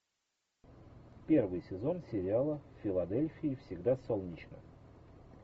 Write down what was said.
первый сезон сериала в филадельфии всегда солнечно